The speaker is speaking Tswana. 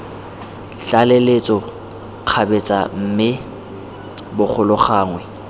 tlaleletso kgabetsa mme bogolo gangwe